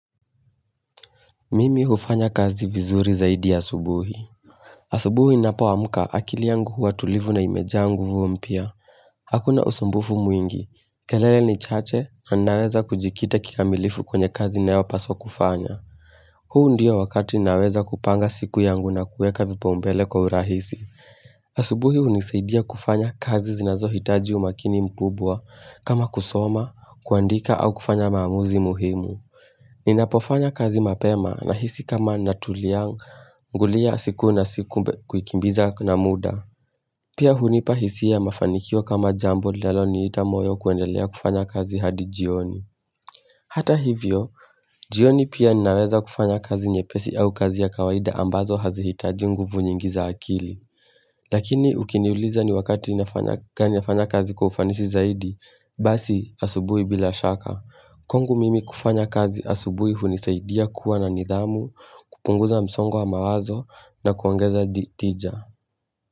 Mimi hufanya kazi vizuri zaidi ya asubuhi asubuhi inapo amuka akili yangu huwa tulivu na imejaa nguvu mpya Hakuna usumbufu mwingi, kelele ni chache na naweza kujikita kika milifu kwenye kazi nayo paso kufanya huu ndiyo wakati naweza kupanga siku yangu na kueka vipaumbele kwa urahisi asubuhi unisaidia kufanya kazi zinazo hitaji umakini mkubwa kama kusoma, kuandika au kufanya maamuzi muhimu Ninapofanya kazi mapema na hisi kama natuliang ngulia siku na siku kukimbiza na muda. Pia hunipahisia ya mafanikio kama jambo laloni itamoyo kuendelea kufanya kazi hadi jioni. Hata hivyo, jioni pia ninaweza kufanya kazi nyepesi au kazi ya kawaida ambazo hazihitaji nguvu nyingi za akili. Lakini ukiniuliza ni wakati nafanya kazi kufanisi zaidi, basi asubui bila shaka. Kwangu mimi kufanya kazi asubuhu hunisaidia kuwa na nidhamu, kupunguza msongwa mawazo na kuongeza di tija.